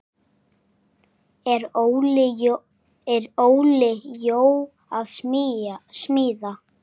Er Óli Jó að smíða?